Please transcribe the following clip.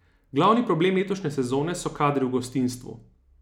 Glavni problem letošnje sezone so kadri v gostinstvu.